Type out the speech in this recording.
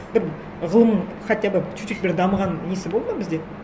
бір ғылым хотя бы чуть чуть бір дамыған несі болды ма бізде